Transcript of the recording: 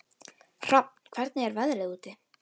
Hrafn, hvernig er veðrið úti?